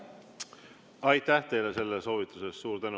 Aitäh teile selle soovituse eest!